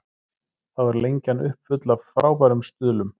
Þá er Lengjan uppfull af frábærum stuðlum.